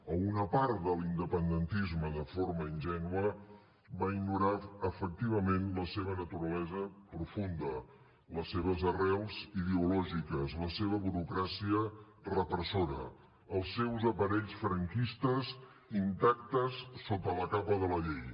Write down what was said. o una part de l’independentisme de forma ingènua va ignorar efectivament la seva naturalesa profunda les seves arrels ideològiques la seva burocràcia repressora els seus aparells franquistes intactes sota la capa de la llei